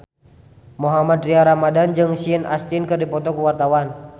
Mohammad Tria Ramadhani jeung Sean Astin keur dipoto ku wartawan